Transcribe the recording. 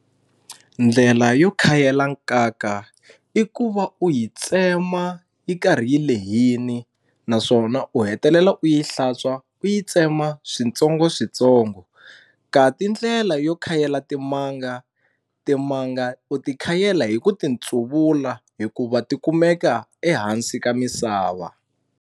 Ndlela yo khayela nkaka i ku va u yi tsema yi karhi yi lehini naswona u hetelela u yi hlantswa u yi tsema switsongo switsongo ka ti ndlela yo khayela timanga timanga u ti khayela hi ku titsuvula hikuva ti kumeka ehansi ka misava.